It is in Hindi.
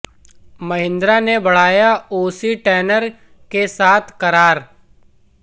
महिंद्रा ने बढ़ाया ओ सी टैनर के साथ करार